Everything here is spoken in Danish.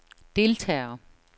deltagere